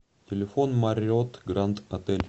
телефон марриотт гранд отель